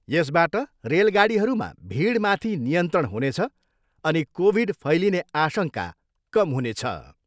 यसबाट रेलगाडीहरूमा भिडमाथि नियन्त्रण हुनेछ अनि कोभिड फैलिने आशङ्का कम हुनेछ।